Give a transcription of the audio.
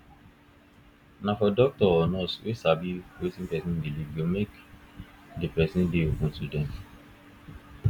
na for doctor or nurse to dey sabi wetin person believe go fit make de person dey open to dem